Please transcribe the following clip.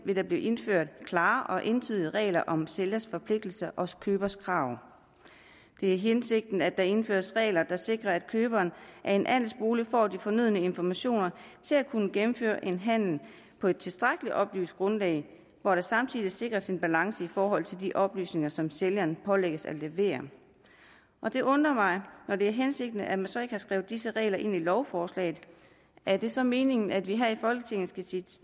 vil blive indført klare og entydige regler om sælgers forpligtelse og købers krav det er hensigten at der indføres regler der sikrer at køberen af en andelsbolig får de fornødne informationer til at kunne gennemføre en handel på et tilstrækkelig oplyst grundlag hvor der samtidig sikres en balance i forhold til de oplysninger som sælgeren pålægges at levere det undrer mig når det er hensigten at man så ikke har skrevet disse regler ind i lovforslaget er det så meningen at vi her i folketinget skal sige